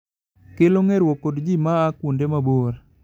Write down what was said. kelo ngerwok kod ji ma a kuonde ma bor